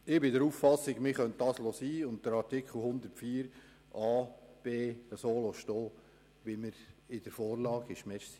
Ich bin der Auffassung, dass es den Buchstaben c nicht braucht und man Artikel 104 Absatz 1 Buchstabe a und b so stehen lassen kann, wie er in der Vorlage ist.